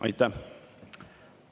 Aitäh!